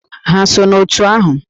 Ha so n'òtù ahụ?